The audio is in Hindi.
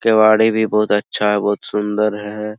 केवाड़ी भी बहुत अच्छा है बहुत सुन्दर है ।